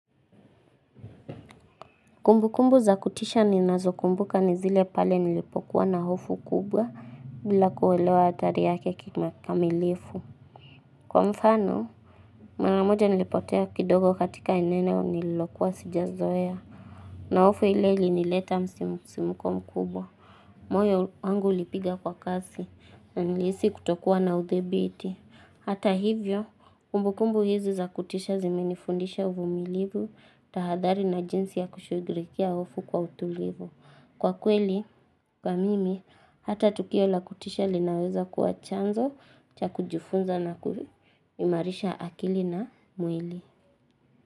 Kumbu kumbu za kutisha ninazo kumbuka nizile pale nilipokuwa na hofu kubwa bila kuelewa hatari yake kikamilifu. Kwa mfano, maramoja nilipotea kidogo katika eneo nililokuwa sijazoea. Na hofu ile ilinileta msimuko mkubwa. Moyo wangu ulipiga kwa kasi na nilihisi kutokuwa na udhibiti. Hata hivyo, kumbukumbu hizi za kutisha zimenifundisha uvumilivu, tahadhari na jinsi ya kushugulikia hofu kwa utulivu. Kwa kweli, kwa mimi, hata tukio la kutisha linaweza kuwa chanzo, cha kujifunza na kuimarisha akili na mwili.